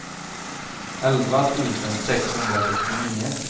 elva tusen sexhundrasextionio